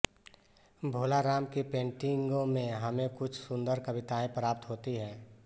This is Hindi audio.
भोला राम की पेन्टिंगों में हमे कुछ सुन्दर कविताएं प्राप्त होती हैं